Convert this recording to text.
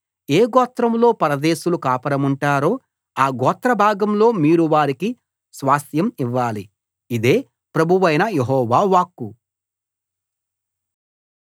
ఏ గోత్రంలో పరదేశులు కాపురముంటారో ఆ గోత్ర భాగంలో మీరు వారికి స్వాస్థ్యం ఇవ్వాలి ఇదే ప్రభువైన యెహోవా వాక్కు